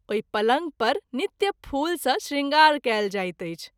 ओहि पलंग पर नित्य फूल सँ शृंगार कएल जाइत अछि।